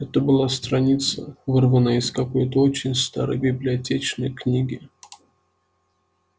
это была страница вырванная из какой-то очень старой библиотечной книги